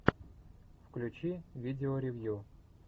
включи видео ревью